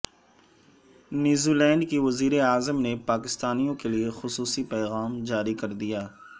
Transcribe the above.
New Zealand کی وزیراعظم نے پاکستانیوں کیلئےخصو صی پیغام جاری کر دیا